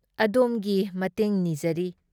ꯑꯗꯣꯝꯒꯤ ꯃꯇꯦꯡ ꯅꯤꯖꯔꯤ ꯫